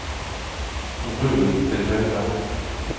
rull til høyre